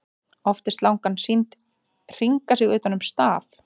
Oft er slangan sýnd hringa sig utan um staf.